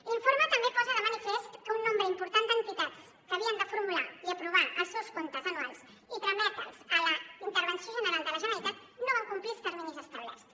l’informe també posa de manifest que un nombre important d’entitats que havien de formular i aprovar els seus comptes anuals i trametre’ls a la intervenció general de la generalitat no van complir els terminis establerts